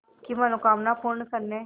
की मनोकामना पूर्ण करने